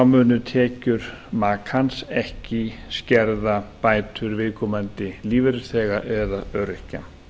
munu tekjur makans ekki skerða bætur viðkomandi lífeyrisþega eða öryrkja